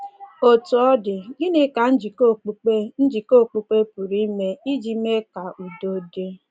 Otú ọ dị, gịnị ka njikọ okpukpe njikọ okpukpe pụrụ ime iji mee ka udo dị?